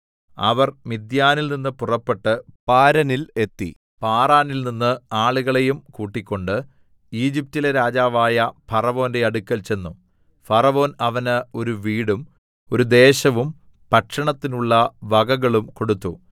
അവർ മിദ്യാനിൽനിന്ന് പുറപ്പെട്ട് പാരനിൽ എത്തി പാറാനിൽനിന്ന് ആളുകളെയും കൂട്ടിക്കൊണ്ട് ഈജിപ്റ്റിലെ രാജാവായ ഫറവോന്റെ അടുക്കൽ ചെന്നു ഫറവോൻ അവന് ഒരു വീടും ഒരു ദേശവും ഭക്ഷണത്തിനുള്ള വകകളും കൊടുത്തു